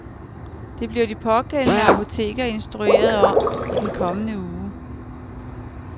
Det bliver de pågældende apoteker instrueret om i den kommende uge.